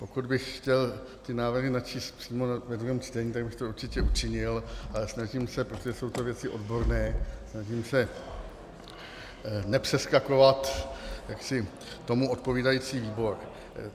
Pokud bych chtěl ty návrhy načíst přímo ve druhém čtení, tak bych to určitě učinil, ale snažím se, protože jsou to věci odborné, snažím se nepřeskakovat tomu odpovídající výbor.